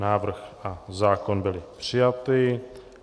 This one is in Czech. Návrh a zákon byly přijaty.